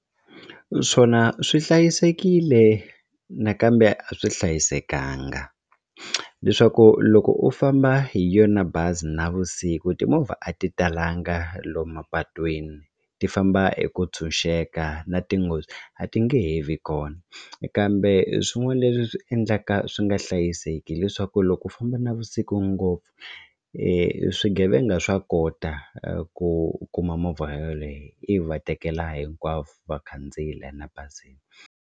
Swona swi hlayisekile nakambe a swi hlayisekanga leswaku loko u famba hi yona bazi navusiku timovha a ti talanga lomu mapatwini ti famba hi ku tshunxeka na tinghozi a ti nge he vi kona kambe swin'wana leswi swi endlaka swi nga hlayiseki hileswaku loko u famba navusiku ngopfu swigevenga swa kota ku kuma movha yeleyo ivi va tekela hinkwavo va khandziyi la na bazini.